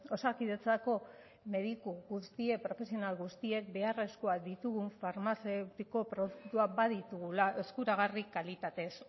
osakidetzako mediku guztiek profesional guztiek beharrezkoak ditugun farmazeutiko produktuak baditugula eskuragarri kalitatez